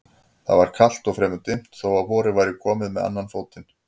Það var kalt og fremur dimmt þó að vorið væri komið með annan fótinn.